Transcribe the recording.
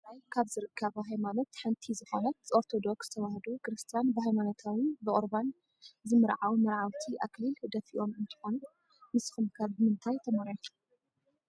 ኣብ ትግራይ ካብ ዝርከባ ሃይማኖት ሓንቲ ዝኮነት ኦርቶዶክስ ተዋህዶ ክርስትያን ብሃይማኖታዊ ብቁርባን ዝምርዓው መርዓውቲ ኣክሊል ደፊኦም እንትኮኑ፣ ንስኩም ከ ብምንታይ ተመርዒኩም?